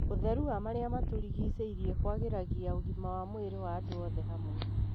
Utherũ wa marĩa matũrigĩcĩirie kwagĩragia ũgima wa mwĩri wa andũ othe hamwe.